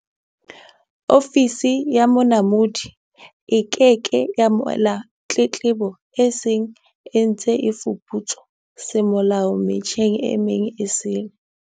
Ofisi ya Monamodi e ke ke ya amohela tletlebo e seng e ntse e fuputswa semolao me tjheng e meng esele.